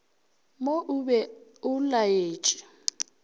mo o be o laetše